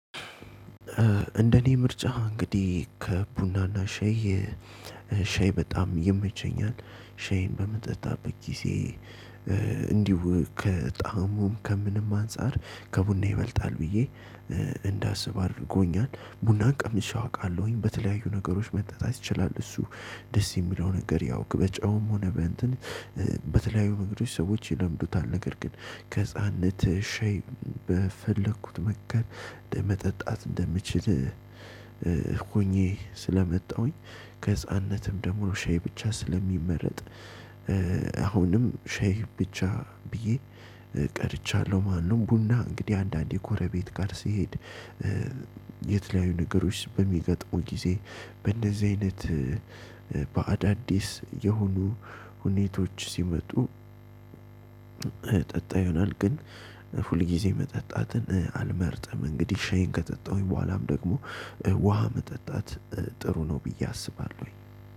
እንደኔ ምርጫ እንግዲህ ከቡናና ሻይ ሻይ በጣም ይመቸኛል። ሻይ በምጠጣበት ጊዜ እንዲሁ ከጣሙም ከምንም አንፃር ከቡና ይበልጣል ብዬ እንዳስብ አድርጎኛል። ቡናን ቀምሼው አውቃለሁኝ በተለያዩ ነገሮች መጠጣት ይችላል። እሱ ደስ የሚለው ነገር ያው በጨውም ሆነ በእንትን በተለያዩ ነገሮች ሰዎች ይለምዱታል። ነገር ግን ከህፃንነትህ ሻይ በፈለኩት መንገድ ለመጠጣት እንደምችል ሁኘ ስለመጣሁኝ። ከህፃንነትም ደግሞ ሻይ ብቻ ስለሚመረጥ አሁንም ሻህ ብቻ ብዬ ቀርቻለሁ ማለት ነው። ቡና እንግዲህ አንዳንዴ ኮረቤት ጋር ሲሄድ። የተለያዩ ነገሮች በሚገጥሙ ጊዜ በእንደዚህ አይነት በአዳዲስ የሆኑ ሁኔታዎች ሲመጡ። እጠጣ ይሆናል ግን ሁልጊዜ መጠጣትን አልመርጥም። እንግዲህ ሻይን ከጠጣሁኝ በኋላም ደግሞ ውሃ መጠጣት ጥሩ ነው። ብዬ አስባለሁኝ